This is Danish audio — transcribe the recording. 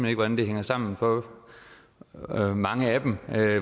ikke hvordan det hænger sammen for mange af dem